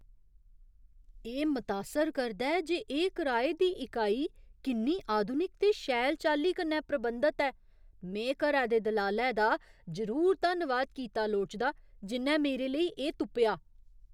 एह् मतासर करदा ऐ जे एह् कराए दी इकाई किन्नी आधुनिक ते शैल चाल्ली कन्नै प्रबंधत ऐ! में घरै दे दलालै दा जरूर धन्नवाद कीता लोड़चदा जि'न्नै मेरे लेई एह् तुप्पेआ।